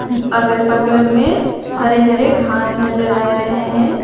अगल बगल में हरे हरे घास नजर आ रहे हैं।